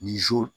Ni